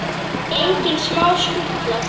Engin smá skutla!